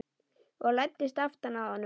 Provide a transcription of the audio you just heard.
Og læddist aftan að honum.